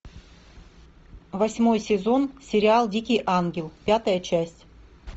восьмой сезон сериал дикий ангел пятая часть